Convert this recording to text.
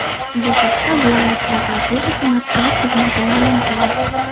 Bu haqda viloyat prokuraturasi matbuot xizmati ma’lum qildi .